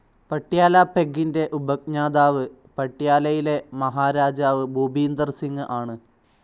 പട്യാല പെഗ്ഗിൻ്റെ ഉപജ്ഞാതാവ് പട്യാലയിലെ മഹാരാജാ ഭൂപീന്ദർ സിംഗ് ആണ്.